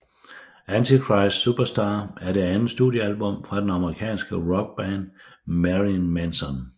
Antichrist Superstar er det andet studiealbum fra den amerikanske rockband Marilyn Manson